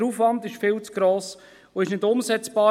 Der Aufwand ist viel zu gross, und es ist nicht umsetzbar.